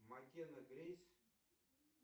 макена грейс